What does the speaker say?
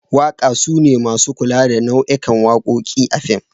Waka sune masu kula da nau'ikan wakokin a fim.